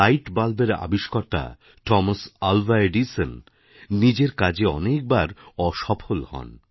light বালবের আবিষ্কর্তা Thomas Alva Edison নিজের কাজে অনেকবার অসফল হন